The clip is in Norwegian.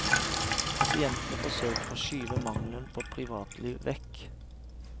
Pasientene forsøker å skyve mangelen på privatliv vekk.